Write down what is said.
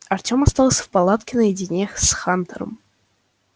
артем остался в палатке наедине с хантером